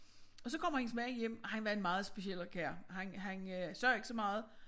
Og så kommer hendes mand hjem og han var en meget speciel kar han han øh sagde ikke så meget